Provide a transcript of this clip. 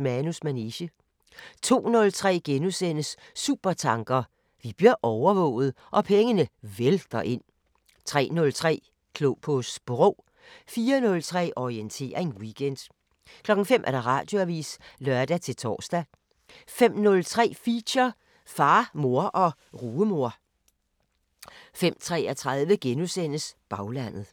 Manus manege * 02:03: Supertanker: Vi bliver overvåget – og pengene vælter ind * 03:03: Klog på Sprog 04:03: Orientering Weekend 05:00: Radioavisen (lør-tor) 05:03: Feature: Far, far og rugemor 05:33: Baglandet *